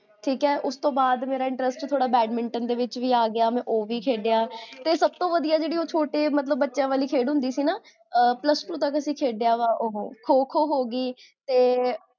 ਠੀਕ ਹੈ ਉਸ ਤੋ ਬਾਦ ਮੇਰਾ interest ਥੋੜਾ badminton ਦੇ ਵਿੱਚ ਵੀ ਆਗਿਆ ਮੈਂ ਓਹ ਵੀ ਖੇਡਿਆ ਤੇ ਸਬ ਤੋਂ ਵਦੀਆਜੇਹੜੀ ਓਹ ਛੋਟੇ, ਮਤਲਬ ਬਚਿਆਂ ਵਾਲੀ ਖੇਡ ਹੁੰਦੀ ਸੀ ਨਾ ਪਲੁਸ ਟੂ ਤਕ ਅਸੀ ਖੇਡਿਆ ਵਾ ਓਹੋ, ਖੋ ਖੋ ਹੋਗੀ ਤੇ